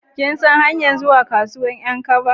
Kin san hanyar zuwa kasuwan 'yan kaba?